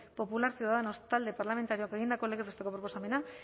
popularra ciudadanos talde parlamentarioak egindako legez besteko proposamena